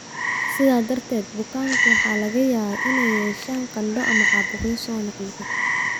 Sidaa darteed, bukaanku waxaa laga yaabaa inay yeeshaan qandho ama caabuqyo soo noqnoqda.